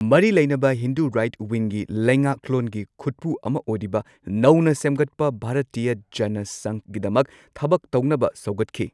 ꯃꯔꯤ ꯂꯩꯅꯕ ꯍꯤꯟꯗꯨ ꯔꯥꯏꯠ ꯋꯤꯡꯒꯤ ꯂꯩꯉꯥꯛꯂꯣꯟꯒꯤ ꯈꯨꯠꯄꯨ ꯑꯃ ꯑꯣꯏꯔꯤꯕ ꯅꯧꯅ ꯁꯦꯝꯒꯠꯄ ꯚꯥꯔꯇꯤꯌꯥ ꯖꯅꯥ ꯁꯪꯘꯒꯤꯗꯃꯛ ꯊꯕꯛ ꯇꯧꯅꯕ ꯁꯧꯒꯠꯈꯤ꯫